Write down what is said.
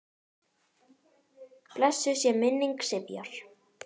Blessuð sé minning Sifjar.